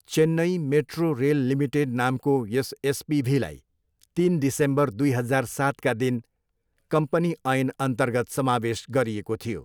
Chennai metro rail limited नामको यस एसपिभीलाई तिन डिसेम्बर दुई हजार सातका दिन कम्पनी ऐनअन्तर्गत समावेश गरिएको थियो।